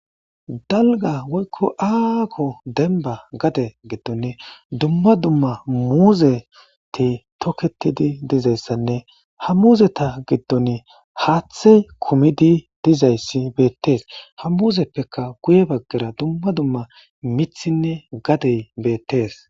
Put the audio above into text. Dalga woykko aako denba gade giddon dumma dumma muuzeti toketidi dizayssanne ha muuzeta giddon haathe kumidi dizayssi beettees ha muuzeppeka guye baggera dumma dumma mithinne gadey beettees.